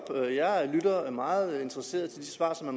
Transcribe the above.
jeg lytter meget interesseret til de svar som